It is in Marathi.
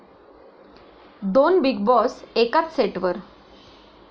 दोन 'बिग बाॅस' एकाच सेटवर